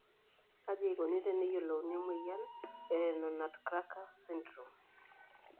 Kaji eikoni teneyiolouni emoyian e Renal nutcracker syndrome?